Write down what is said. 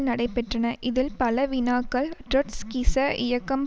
நடைபெற்றன இதில் பல வினாக்கள் ட்ரொட்ஸ்கிச இயக்கம்